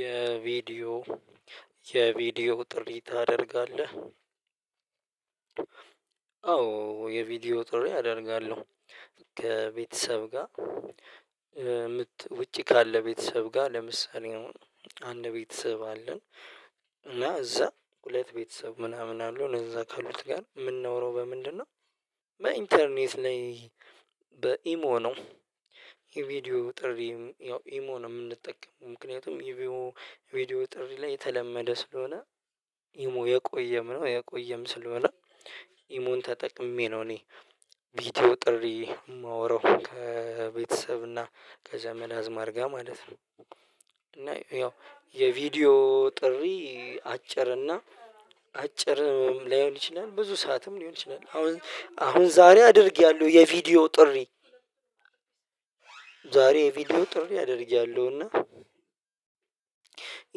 የቪዲዮ የቪዲዮ ጥሪ ታደርጋለህ? አዎ የቪዲዮ ጥሪ አደርጋለሁ ከቤተሰብ ጋር። ውጪ ካለ ቤተሰብ ጋር ለምሳሌ አንድ ቤተሰብ አለን እና እዛ ሁለት ቤተሰብ ምናምን አለው እዛ ካሉት ጋር የምናወራው በምንድነው? በኢንተርኔት ላይ በኢሞ ነው። የቪዲዮ ጥሪ ያው ኢሞ ነው የምንጠቀመው ምክንያቱም ይሄ ቪዲዮ ጥሪ ላይ የተለመደ ስለሆነ። ይሞ የቆየም ነው የቆየም ስለሆነ። ኢሞን ተጠቅሜ ነው እኔ። ቪዲዮ ጥሪ የማወራው ከቤተሰብ እና ከዘመድ አዝማድ ጋር ማለት ነው ነው። እና ያው የቪዲዮ ጥሪ አጭር እና አጭር ላይሆን ይችላል ብዙ ሰዓትም ሊሆን ይችላል። አሁን አሁን ዛሬ አድርጌያለሁ የቪዲዮ ጥሪ። ዛሬ የቪዲዮ ጥሪ አድርጊያለሁ። እና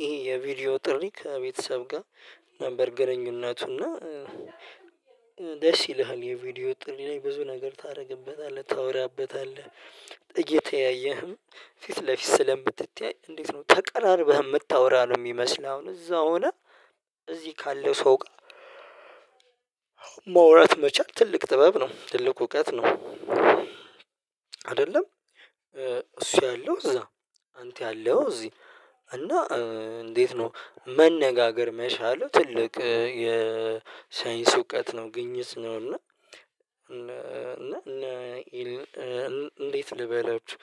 ይሄ የቪዲዮ ጥሪ ከቤተሰብ ጋር ነበር ግንኙነቱ እና። ደስ ይልሃል የቪዲዮ ጥሪ ላይ ብዙ ነገር ታደርግበታለህ ታወራበታለህ እየተያየህም ፊት ለፊት ስለምትተያይ። እንዴት ነው ተቀራርበህ የምታወራ ነው የሚመስል አሁን እዛው ሆነ እዚህ ካለ ሰው። ማውራት መቻል ትልቅ ጥበብ ነው ትልቁ እውቀት ነው። አይደለም እሱ ያለው እዛ አንተ ያለው እዚህ። እና እንዴት ነው መነጋገር መቻልህ ትልቅ የሳይንስ እውቀት ነው። ግኝት ነው እና እና እንዴት ልበላችሁ?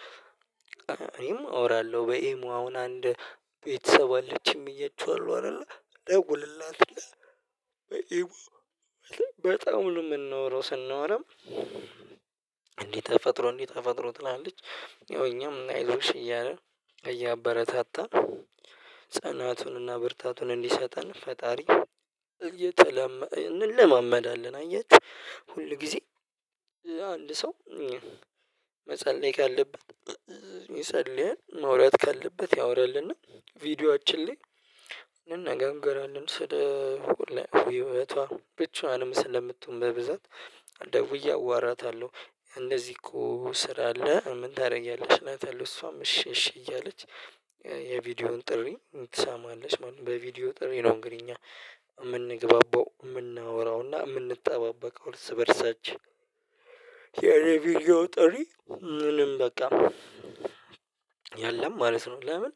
እኔም አወራለሁ በኢሞ አሁን አንድ ቤተሰብ አለችኝ ብያችኋለሁ አይደለ ደውልላታለሁ። በኢሞ በጣም ነው ምናወራው ስናወራም እንዲህ ተፈጥሮ እንዲህ ተፈጥሮ ትላለች ያው እኛም አይዞሽ እያለን እያበረታታን ጽናቱንና ብርታቱን እንዲሰጠን ፈጣሪ። እንለማመዳለን አያችሁ ሁል ጊዜ አንድ ሰው መጸለይ ካለበት ይጸልያል። ማውራት ካለበት ያወራልና። ቪዲዮአችን ላይ እንነጋገራለን ስለ ህይወቷ ብቻዋንም ስለምትሆን በብዛት ደውዬ አዋራታለሁ። እንደዚህ እኮ ስራ አለ ምን ታደርጊያለሽ እላታለሁ። እሷም እሺ እሺ እያለች የቪዲዮውን ጥሪ ትሰማለች ማለት ነው። በቪዲዮ ጥሪ ነው እንግዲህ እኛ የምንግባባው የምናወራውና የምንጠባበቀው እርስ በርሳችን። የኔ ቪዲዮ ጥሪ ምንም በቃ የለም ማለት ነው። ለምን?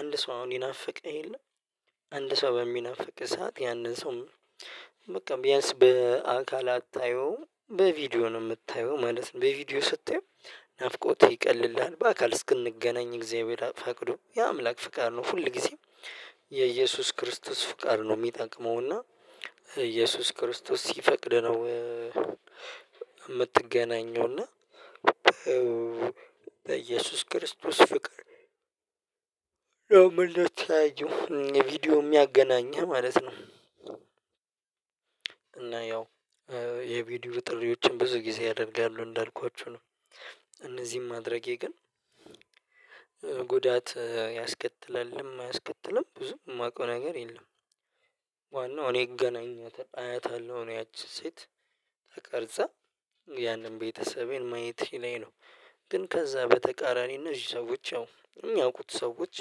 አንድ ሰው አሁን ይናፍቅህ የለም አንድ ሰው በሚናፍቅህ ሰዓት ያንን ሰው። በቃ ቢያንስ በአካል አታየውም በቪዲዮ ነው የምታየው ማለት ነው። በቪዲዮ ስታየው ናፍቆትህ ይቀልልሃል በአካል እስክንገናኝ እግዚአብሔር ፈቅዶ የአምላክ ፍቃድ ነው። ሁል ጊዜም የኢየሱስ ክርስቶስ ፍቃድ ነው የሚጠቅመው እና ኢየሱስ ክርስቶስ ሲፈቅድ ነው። የምትገናኘው እና እየሱስ ክርስቶስ ፍቅር ለመልካም ትላዩ ቪዲዮ የሚያገናኘው ማለት ነው። እና ያው የቪዲዮ ጥሪዎችን ብዙ ጊዜ ያደርጋሉ እንዳልኳችሁ ነው። እነዚህን ማድረጌ ግን ጉዳት ያስከትላልም አያስከትልም ብዙም የማውቀው ነገር የለም። ዋናው እኔ እገናኛታለሁ አያታለሁ እኔ ያቺን ሴት ተቀርጻ ያንን ቤተሰቤን ማየት ላይ ነው። ግን ከዛ በተቃራኒነት ሰዎች ያው ያውቁት ሰዎች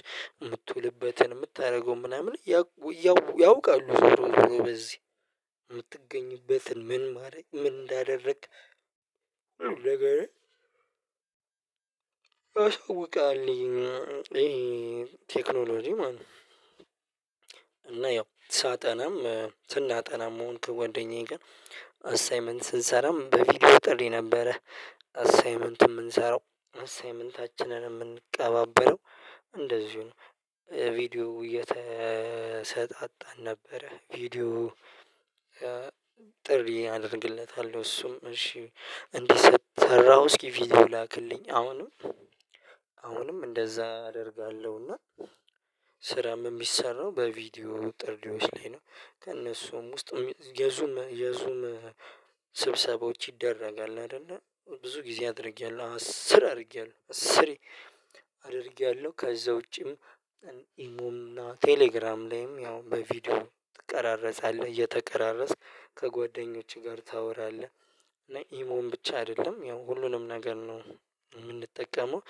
የምትውልበትን የምታደርገውን ምናምን ያውቃሉ ስለዚህ የምትገኝበትን ምን ማለት ምን እንዳደረክ። ነገር አስወጋለሁ ቴክኖሎጂ ማለት ነው። እና ያው ሳጠናም ስናጠናም መሆን ከጓደኛዬ ጋር አሳይመንት ስንሰራም በፊት በጥሪ ነበረ። አሳይመንት የምንሰራው አሳይመንታችንን የምንቀባበለው እንደዚሁ ነው። ቪዲዮ እየተሰጣጣን ነበረ ቪዲዮ። ጥሪ አደርግለታለሁ እሱም እሺ እንዲሰራው እስኪ ቪዲዮ ላክልኝ አሁንም። አሁንም እንደዛ አደርጋለሁና እና ስራም የሚሰራው በቪዲዮ ጥሪዎች ላይ ነው። ከእነሱም ውስጥ የዙም የዙም ስብሰባዎች ይደረጋል። አይደለ ብዙ ጊዜ አድርጌያለሁ አስር አድርጌያለሁ አስሬ አድርጌያለሁ። ከዛ ውጪም ኢሞም እና ቴሌግራም ላይም ያው በቪዲዮ ትቀራረጻለህ እየተቀራረጽክ ከጓደኞችህ ጋር ታወራለህ። እና ኢሞ ብቻ አይደለም ያው ሁሉንም ነገር ነው የምንጠቀመው።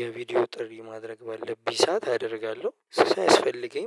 የቪዲዮ ጥሪ ማድረግ ባለብኝ ሳት አደርጋለሁ ሲያስፈልገኝ